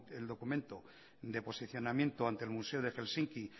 el documento de posicionamiento ante el museo de helsinki